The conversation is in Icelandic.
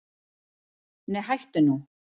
Nei hættu nú!